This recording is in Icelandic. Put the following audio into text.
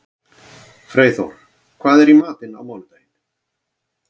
Freyþór, hvað er í matinn á mánudaginn?